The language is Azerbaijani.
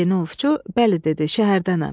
Yeni ovçu bəli dedi, şəhərdənəm.